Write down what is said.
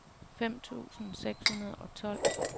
fem tusind seks hundrede og tolv